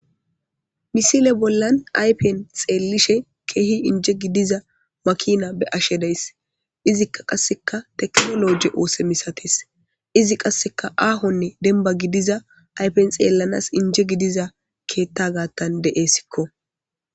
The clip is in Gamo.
misile bollan aypen xeellishe keehi inje gidiza makina be ashe days izikka qasseka teknoloje oose misatis izi qasseka aahonne denba gidiza aypen xeellanas inje gidiza keetta gaattan de7essikko